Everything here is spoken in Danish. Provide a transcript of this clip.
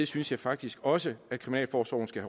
synes jeg faktisk også at kriminalforsorgen skal